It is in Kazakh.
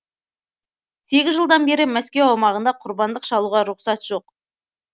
сегіз жылдан бері мәскеу аумағында құрбандық шалуға рұқсат жоқ